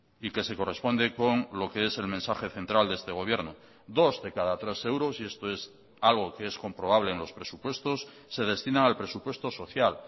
y que se corresponde con lo que es el mensaje central de este gobierno dos de cada tres euros y esto es algo que es comprobable en los presupuestos se destina al presupuesto social